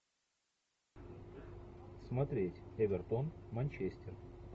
смотреть эвертон манчестер